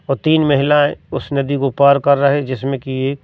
और तीन महिलाएं उस नदी को पार कर रहे जिसमें की एक--